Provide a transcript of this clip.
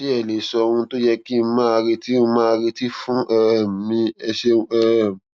ṣé ẹ lè sọ ohun tó yẹ kí n máa retí n máa retí fún um mi ẹ ṣeun um